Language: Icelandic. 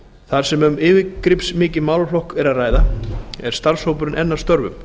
þar sem um yfirgripsmikinn málaflokk er að ræða er starfshópurinn enn að störfum